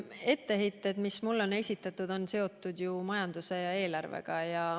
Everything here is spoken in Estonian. Etteheited, mis mulle on esitatud, on seotud ju majanduse ja eelarvega.